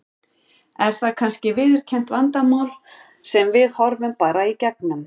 Er það kannski viðurkennt vandamál sem við horfum bara í gegnum?